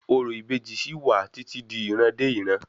Orò ìbejì sí wà títí di ìran dé ìran